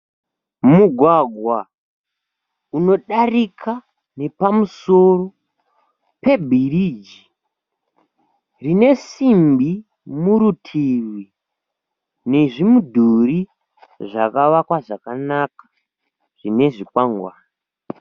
Mugwagwa unodarika nepamusoro pebhiriji. Rine simbi murutivi nezvimudhuri zvakavakwa zvakanaka zvinezvikwangane.